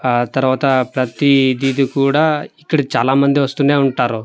ఆ తరువత ప్రతి దిది కూడా ఇక్కడ చాలా మంది వస్తూనే ఉంటారు.